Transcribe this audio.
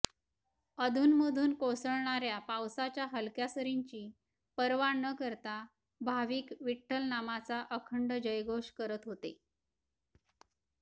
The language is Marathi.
अधूनमधून कोसळणार्या पावसाच्या हलक्या सरींची पर्वा न करता भाविक विठ्ठलनामाचा अखंड जयघोष करत होते